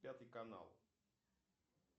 пятый канал